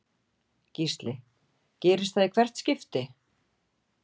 Gísli: Gerist það í hvert skipti?